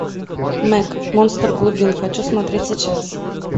мэк монстр глубин хочу смотреть сейчас